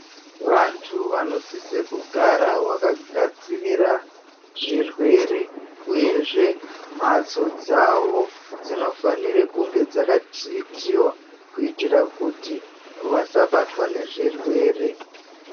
Vantu vanosise kugara vakagadzirira zvirwere, uyezve mhatso dzavo dzinofanire kunge dzakathiritiwa kuitira kuti vasabatwa nezvirwere.